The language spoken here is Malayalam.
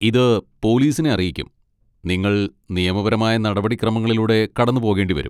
ഇത് പോലീസിനെ അറിയിക്കും, നിങ്ങൾ നിയമപരമായ നടപടിക്രമങ്ങളിലൂടെ കടന്നുപോകേണ്ടിവരും.